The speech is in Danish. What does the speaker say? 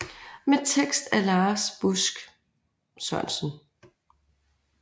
Med tekst af Lars Busk Sørensen